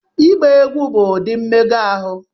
Ịgba egwu bụ ụdị mmega ahụ